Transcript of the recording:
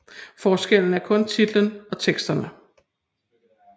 Forskellen er kun titlen og teksterne